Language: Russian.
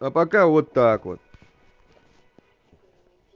а пока вот так вот